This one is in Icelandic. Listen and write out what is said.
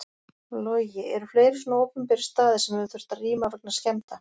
Logi: Eru fleiri svona opinberir staðir sem hefur þurft að rýma vegna skemmda?